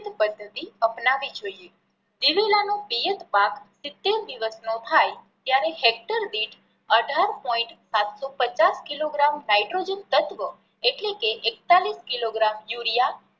પદ્ધતિ અપનાવવી જોઈએ. દિવેલા નો પિયત પાક સિતેર દિવસ નો થાય ત્યારે હેક્ટર દીઠ અઢાર પોઈન્ટ સાત સો પચાસ કિલો ગ્રામ નાઇટ્રોજન તત્વ એટલે કે એકતાળીસ કિલો ગ્રામ યુરિયા